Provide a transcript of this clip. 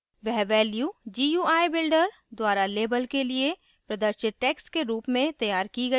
वह value gui builder द्वारा label के लिए प्रदर्शित text के रूप में तैयार की gui थी